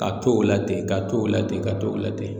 Ka to o la ten ka to o la ten ka to o la ten